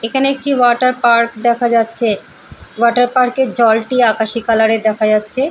এখানে একটি water park দেখা যাচ্ছে ওয়াটার পার্ক -এর জলটি আকাশি কালার -এর দেখা যাচ্ছে।